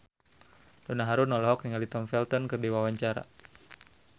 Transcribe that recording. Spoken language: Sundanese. Donna Harun olohok ningali Tom Felton keur diwawancara